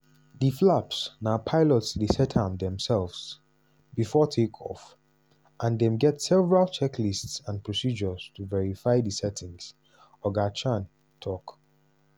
"di flaps na pilots dey set am demsefs bifor take off and dem get several checklists and procedures to verify di setting" oga chan tok.